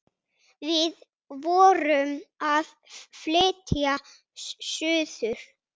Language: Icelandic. Við vorum að flytja suður.